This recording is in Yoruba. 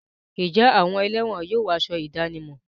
Ǹjẹ́ àwọn ẹlẹ́wọ̀n yóò wọ aṣọ ìdánimọ̀?